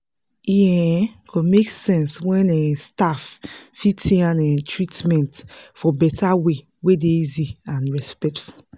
um go make sense when um staff fit um treatment for better way wey dey easy and respectful.